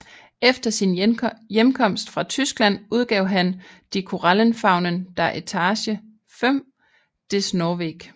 Efter sin hjemkomst fra Tyskland udgav han Die Korallenfaunen der Etage 5 des norweg